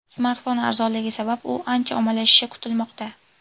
Smartfon arzonligi sabab u ancha ommalashishi kutilmoqda.